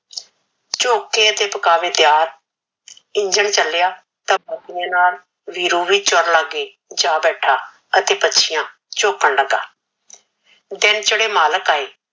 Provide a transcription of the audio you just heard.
ਝੋਕੇ ਤੇ ਪੁਕਾਵੇ ਤਿਆਰ ਇੰਜਣ ਚਲਿਆ ਤਾ ਮੋਤੀਆ ਨਾਲ ਵੀਰੂ ਨੂ ਚੂਰ ਲੱਗ ਗਯੀ ਜਾ ਬੈਠਾ ਅਤੇ ਪਛਿਆ ਝੋਕਣ ਲਗਾ ਦਿਨ ਚੜੇ ਮਾਲਕ ਆਏ